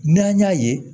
N'an y'a ye